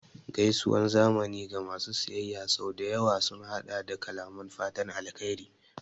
Gaisuwar zamani ga masu siyayya sau da yawa sun haɗa da kalaman fatan alheri